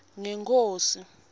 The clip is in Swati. ngenkhosi